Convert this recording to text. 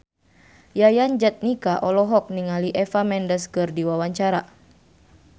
Yayan Jatnika olohok ningali Eva Mendes keur diwawancara